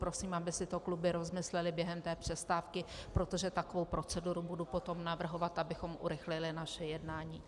Prosím, aby si to kluby rozmyslely během té přestávky, protože takovou proceduru budu potom navrhovat, abychom urychlili naše jednání.